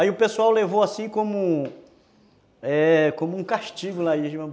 Aí o pessoal levou assim como um é, como um castigo lá